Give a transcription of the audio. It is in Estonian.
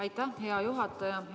Aitäh, hea juhataja!